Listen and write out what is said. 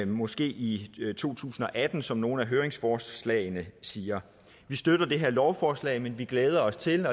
måske i to tusind og atten som nogle af høringsforslagene siger vi støtter det her lovforslag men vi glæder os til